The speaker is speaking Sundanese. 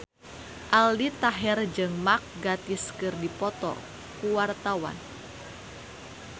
Aldi Taher jeung Mark Gatiss keur dipoto ku wartawan